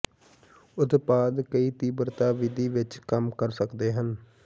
ਉਤਪਾਦ ਕਈ ਤੀਬਰਤਾ ਵਿਧੀ ਵਿੱਚ ਕੰਮ ਕਰ ਸਕਦੇ ਹਨ